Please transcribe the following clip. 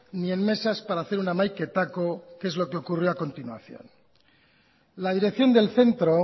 ni en mesas para hacer un hamaiketako que es lo que ocurrió a continuación la dirección del centro